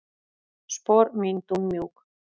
Spor mín dúnmjúk.